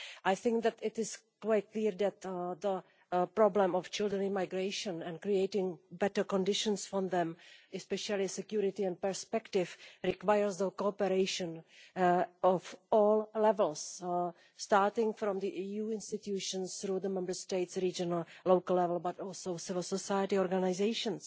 I think it is quite clear that the problem of children in migration and creating better conditions for them, especially security and perspective, requires cooperation at all levels, starting from the EU institutions, through the Member States at regional and local level, but also civil society organisations.